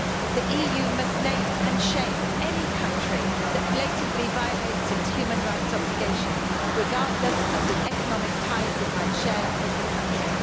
The EU must name and shame any country that blatantly violates its human rights obligations, regardless of the economic ties it might share with the country.